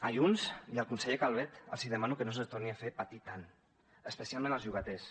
a junts i al conseller calvet els demano que no se’ls torni a fer patir tant especialment als llogaters